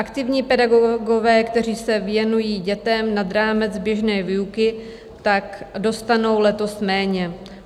Aktivní pedagogové, kteří se věnují dětem nad rámec běžné výuky, tak dostanou letos méně.